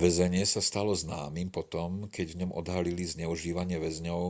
väzenie sa stalo známym po tom keď v ňom odhalili zneužívanie väzňov